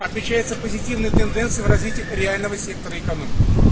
отличается позитивной тенденций в развитии реального сектора экономики